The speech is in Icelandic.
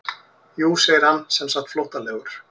Jú segir hann semsagt flóttalegur.